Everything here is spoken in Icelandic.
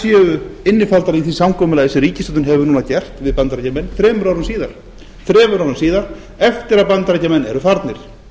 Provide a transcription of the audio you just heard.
séu innifaldar í því samkomulagi sem ríkisstjórnin hefur núna gert við bandaríkjamenn þremur árum síðar þremur árum síðar eftir að bandaríkjamenn eru farnir